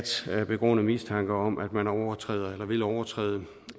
er begrundet mistanke om at man overtræder eller vil overtræde